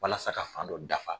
Walasa ka fan dɔ dafa.